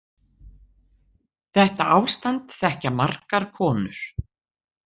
Þetta ástand þekkja margar konur